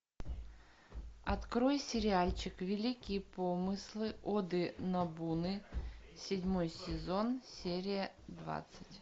открой сериальчик великие помыслы оды нобуны седьмой сезон серия двадцать